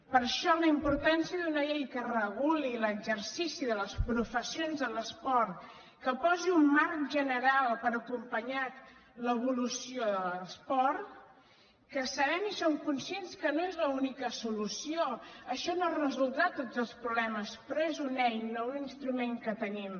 per això la importància d’una llei que reguli l’exercici de les professions de l’esport que posi un marc general per acompanyar l’evolució de l’esport que sabem i som conscients que no n’és l’única solució això no en resoldrà tots els problemes però és una eina un instrument que tenim